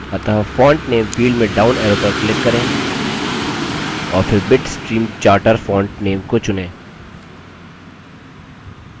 अतः font name field में down arrow पर click करें और फिर bitstream charter font name को चुनें